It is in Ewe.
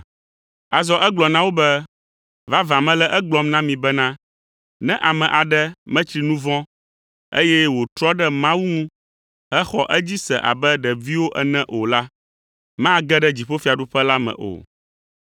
Azɔ egblɔ na wo be, “Vavã mele egblɔm na mi bena, ne ame aɖe metsri nu vɔ̃, eye wòtrɔ ɖe Mawu ŋu hexɔ edzi se abe ɖeviwo ene o la, mage ɖe dziƒofiaɖuƒe la me o,